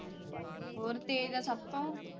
ਹੋਰ ਤੇਜ ਤਾਂ ਸਭ ਤੋਂ।